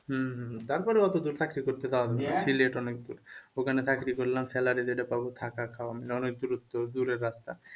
হম হম তারপরে অতদূর চাকরি করতে যাওয়া লাগবে সিলেট অনেক দূর ওখানে চাকরি করলাম salary যেটা পাব থাকা খাওয়া দূরে যাত্রা